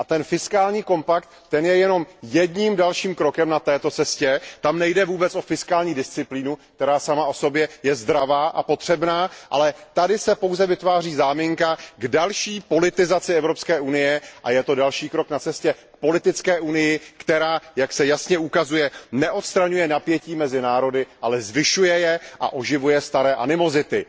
A fiskální kompakt je jenom jedním z dalších kroků na této cestě, kdy vůbec nejde o fiskální disciplínu, která sama o sobě je zdravá a potřebná, ale pouze se vytváří záminka k další politizaci Evropské unie a je to další krok na cestě k politické Unii, která, jak se jasně ukazuje, neodstraňuje napětí mezi národy, ale zvyšuje je a oživuje staré animozity.